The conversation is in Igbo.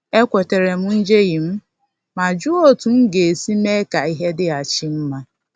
Ekwetara m njehie m ma jụọ otú m ga-esi mee ka ihe dịghachi mma